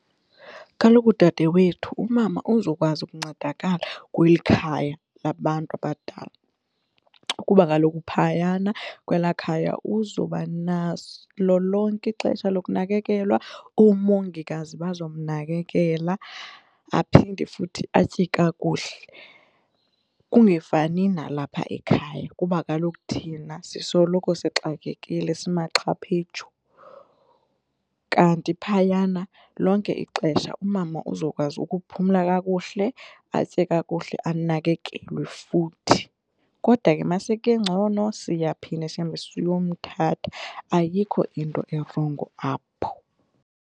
Kaloku, dadewethu umama uzokwazi ukuncedakala kweli khaya labantu abadala kuba kaloku phayana kwelaa khaya uzobaso lonke ixesha lokunakekelwa, oomongikazi bazomnakekela aphinde futhi atye kakuhle. Kungafani nalapha ekhaya kuba kaloku thina sisoloko sixakekile simaxhaphetshu kanti phayana lonke ixesha umama uzokwazi ukuphumla kakuhle, atye kakuhle anakekelwe futhi kodwa ke masekengcono siyaphinde sihambe siyomthatha ayikho into erongo apho.